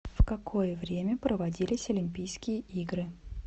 в какое время проводились олимпийские игры